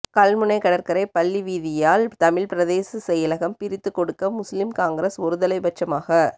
கல்முனை கடற்கரை பள்ளி வீதியால் தமிழ் பிரதேச செயலகம் பிரித்து கொடுக்க முஸ்லிம் காங்கிரஸ் ஒருதலைப்பட்சமாக